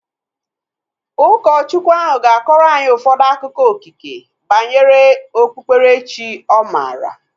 Ụkọchukwu ahu ga-akọrọ anyị ụfọdụ akụkọ okike banyere okpukpere chi ọ maara